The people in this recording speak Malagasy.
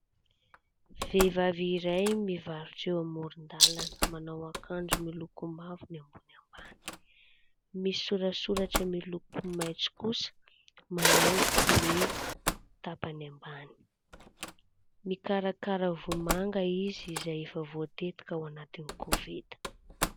Vehivavy iray mivarotra eo amoron-dalàna, manao akanjo miloko mavo ambony ambany, misy soratsoratra miloko maitso kosa manaingo ny tapany ambany, mikarakara vomanga izy izay efa voatetika ao anaty koveta.